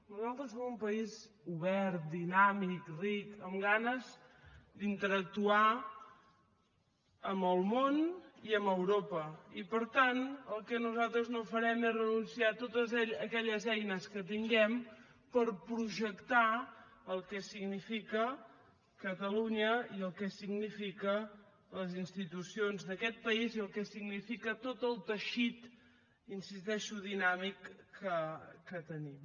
nosaltres som un país obert dinàmic ric amb ganes d’interactuar amb el món i amb europa i per tant el que nosaltres no farem és renunciar a totes aquelles eines que tinguem per projectar el que significa catalunya i el que significa les institucions d’aquest país i el que significa tot el teixit hi insisteixo dinàmic que tenim